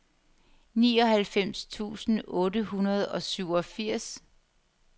nioghalvfems tusind otte hundrede og syvogfirs